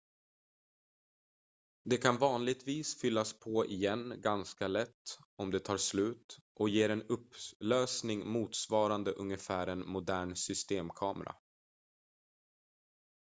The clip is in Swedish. den kan vanligtvis fyllas på igen ganska lätt om det tar slut och ger en upplösning motsvarande ungefär en modern systemkamera